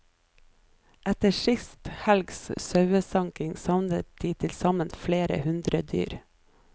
Etter sist helgs sauesanking savner de tilsammen flere hundre dyr.